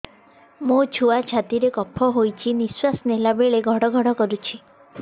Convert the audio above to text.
ମୋ ଛୁଆ ଛାତି ରେ କଫ ହୋଇଛି ନିଶ୍ୱାସ ନେଲା ବେଳେ ଘଡ ଘଡ କରୁଛି